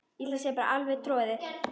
Alveg troðið.